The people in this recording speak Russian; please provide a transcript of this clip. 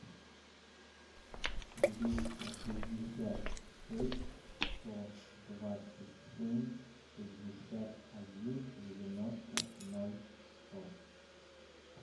двести шестьдесят шесть сто двадцать семь шестьдесят один девяносто ноль сто